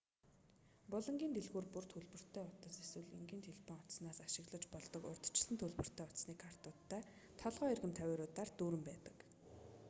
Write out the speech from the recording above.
булангийн дэлгүүр бүр төлбөртэй утас эсвэл энгийн телефон утаснаас ашиглаж болдог урьдчилсан төлбөртэй утасны картуудтай толгой эргэм тавиуруудаар дүүрэн байдаг